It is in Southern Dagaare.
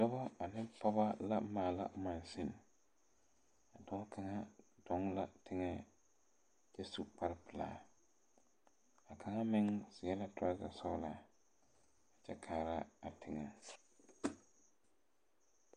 Dɔba ane pɔgeba la maala maŋsune a dɔɔ kaŋa dɔɔ la teŋɛ kyɛ su kpare pilaa a kaŋa meŋ seɛ la tɔrɔzɛ sɔglaa kyɛ kaara a teŋɛ.